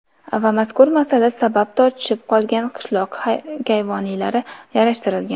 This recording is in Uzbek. Va mazkur masala sabab tortishib qolgan qishloq kayvonilari yarashtirilgan.